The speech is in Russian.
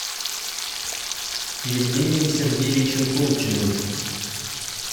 евгением сергеевичем колчиным